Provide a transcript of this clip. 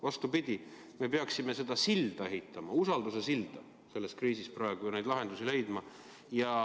Vastupidi, me peaksime silda ehitama, usalduse silda selles kriisis praegu ja lahendusi leidma.